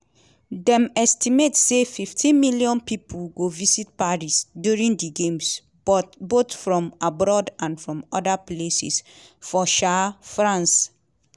dem estimate say 15 million pipo go visit paris during di games both from abroad and from oda places for um france.